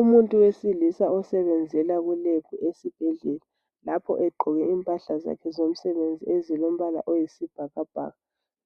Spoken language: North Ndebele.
Umuntu wesilisa osebenzela kulab esibhedlela lapho egqoke impahla zakhe zomsebenzi ezilombala oyisibhakabhaka.